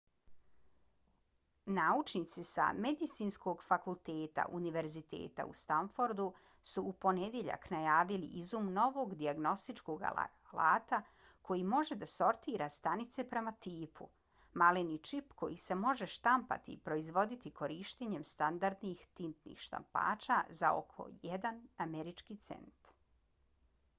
naučnici sa medicinskog fakulteta univerziteta u stanfordu su u ponedjeljak najavili izum novog dijagnostičkog alata koji može da sortira stanice prema tipu: maleni čip koji se može štampati i proizvoditi korištenjem standardnih tintnih štampača za oko jedan američki cent